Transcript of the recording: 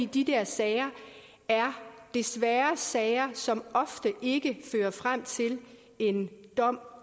de der sager desværre er sager som ofte ikke fører frem til en dom